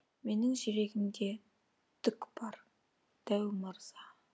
менің жүрегімде түк бар дәу мырза